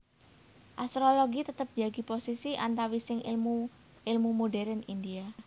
Astrologi tetep njagi posisi antawising ilmu ilmu modérn India